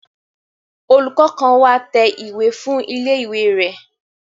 Olùkọ́ kan wá tẹ ìwé fún ilé ìwé rẹ̀